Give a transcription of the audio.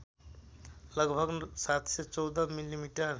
लगभग ७१४ मिमी